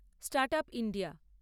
start up India